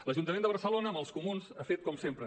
l’ajuntament de barcelona amb els comuns ha fet com sempre